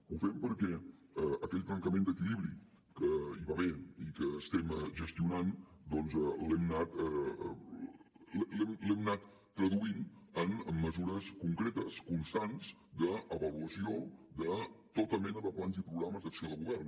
ho fem perquè aquell trencament d’equilibri que hi va haver i que estem gestionant doncs l’hem anat traduint en mesures concretes constants d’avaluació de tota mena de plans i programes d’acció de govern